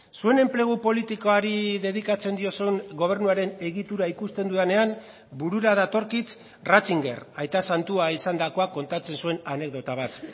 zuen enplegu politikoari dedikatzen diozun gobernuaren egitura ikusten dudanean burura datorkit ratzinger aita santua izandakoa kontatzen zuen anekdota bat